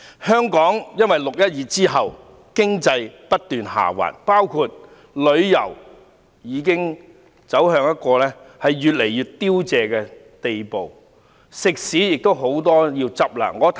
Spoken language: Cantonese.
香港在"六一二"後，經濟不斷下滑，包括旅遊業之內的很多行業，已越來越凋零，很多食肆將要結業。